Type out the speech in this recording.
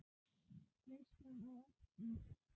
Veislan á eftir?